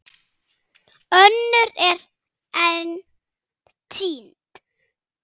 Önnur eru enn týnd.